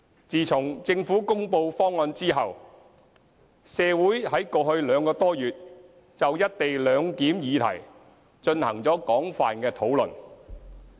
自從政府公布方案後，社會在過去兩個多月就"一地兩檢"議題進行了廣泛的討論。